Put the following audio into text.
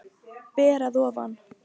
Ber að ofan.